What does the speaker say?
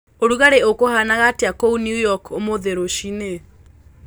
ũrũgarĩ ukuhanaga atĩa kũũ new york umuthi rucĩĩni